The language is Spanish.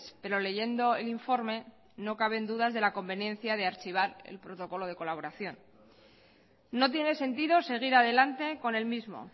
pero leyendo el informe no caben dudas de la conveniencia de archivar el protocolo de colaboración no tiene sentido seguir adelante con el mismo